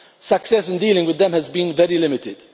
Success in dealing with them has been very limited.